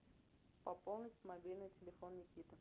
пополнить мобильный телефон никиты